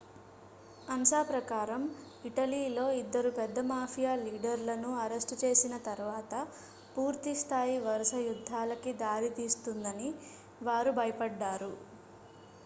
"ansa ప్రకారం "ఇటలీలో ఇద్దరు పెద్ద మాఫియా లీడర్‌లను అరెస్ట్ చేసిన తర్వాత పూర్తి స్థాయి వరుస యుద్ధాలకి దారి తీస్తుందని వారు భయపడ్డారు.